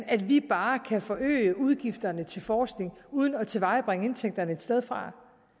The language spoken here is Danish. at vi bare kan forøge udgifterne til forskning uden at tilvejebringe indtægterne et sted fra